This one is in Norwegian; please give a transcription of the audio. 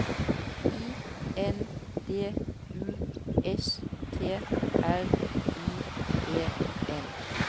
I N D U S T R I E N